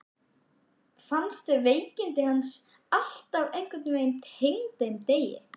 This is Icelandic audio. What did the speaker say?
Fannst veikindi hans alltaf einhvern veginn tengd þeim degi.